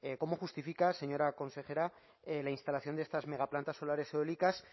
cómo justifica señora consejera la instalación de estas megaplantas solares y eólicas